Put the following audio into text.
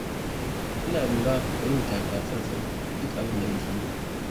Ina lura da yin takatsantsana duk abin da nake yi.